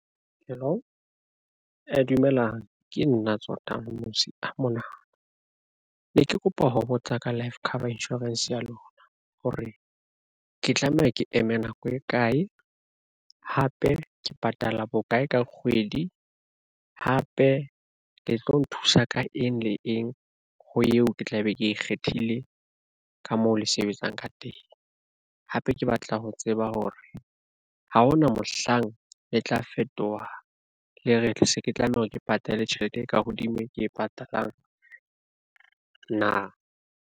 Hello dumelang ke nna tse Tsotang Mmusi a mona na ne ke kopa ho botsa ka life cover insurance ya lona, hore ke tlameha ke eme nako e kae. Hape ke patala bokae ka kgwedi, hape le tlo nthusa ka eng le eng ho eo ke tla be ke ikgethile ka moo le sebetsang ka hape ke batla ho tseba hore ha hona mohlang le tla fetoha, le re se ke tlameha hore ke patale tjhelete e ka hodimo ke e patalang na?